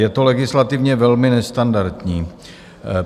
Je to legislativně velmi nestandardní.